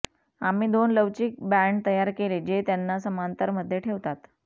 आम्ही दोन लवचिक बँड तयार केले ज्या त्यांना समांतरमध्ये ठेवतात